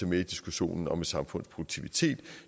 med i diskussionen om et samfunds produktivitet